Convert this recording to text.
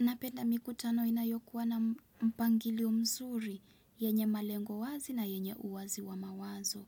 Napenda mikutano inayokuwa na mpangilio mzuri, yenye malengo wazi na yenye uwazi wa mawazo.